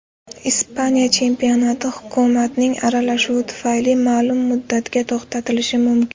Ispaniya chempionati hukumatning aralashuvi tufayli ma’lum muddatga to‘xtatilishi mumkin.